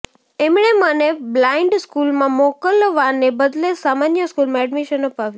એમણે મને બ્લાઇન્ડ સ્કૂલમાં મોકલવાને બદલે સામાન્ય સ્કૂલમાં એડમીશન અપાવ્યું